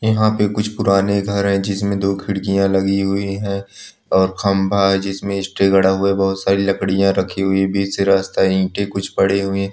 यहां पे कुछ पुराने घर है जिसमे दो खिरकिया लगी हुई है और खंभा है जिसमे स्टेज गड़ा हुआ है बहुत सारी लकरी रखी हुई है बीच से रास्ता है ईट कुछ पड़ी हुई है।